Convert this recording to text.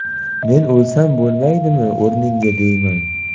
Men o‘lsam bo‘lmaydimi o‘rningga deyman.